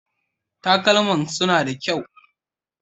Talkaman suna da kyau.